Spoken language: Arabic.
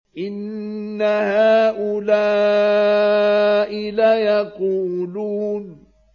إِنَّ هَٰؤُلَاءِ لَيَقُولُونَ